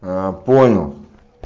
аа понял